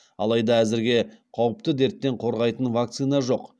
алайда әзірге қауіпті дерттен қорғайтын вакцина жоқ